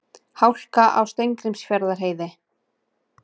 Hálka á Steingrímsfjarðarheiði